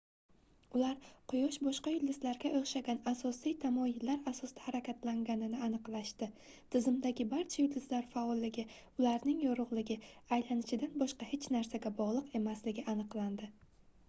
ular quyosh boshqa yulduzlarga oʻxshagan asosiy tamoyillar asosida harakatlanganini aniqlashdi tizimdagi barcha yulduzlar faolligi ularning yorugʻligi aylanishidan boshqa hech narsaga bogʻliq emasligi aniqlandi